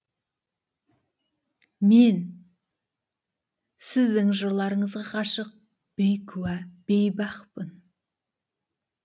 мен сіздің жырларыңызға ғашық бейкүә бейбақпын